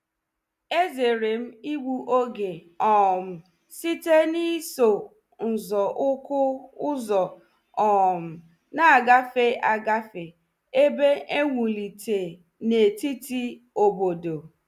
Ezere m igbu oge um site n’iso nzọ ụkwụ ụzọ um na-agafe agafe ebe e wulite n’etiti obodo.